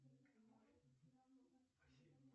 джой перемотай на начало песни